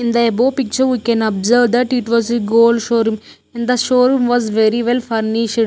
In the above picture we can observe that it was a gold showroom and the showroom was very well furnished.